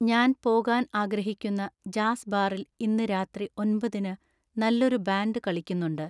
ഞാൻ പോകാൻ ആഗ്രഹിക്കുന്ന ജാസ് ബാറിൽ ഇന്ന് രാത്രി ഒമ്പതിന് നല്ലൊരു ബാൻഡ് കളിക്കുന്നുണ്ട്